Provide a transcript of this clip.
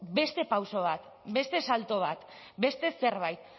beste pauso bat beste salto bat beste zerbait